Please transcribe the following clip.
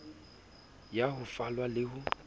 ya ho falwa le ho